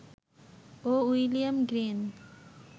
O William green